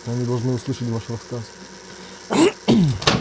они должны услышать ваш рассказ